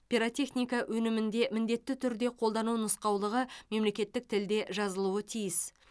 пиротехника өнімінде міндетті түрде қолдану нұсқаулығы мемлекеттік тілде жазылуы тиіс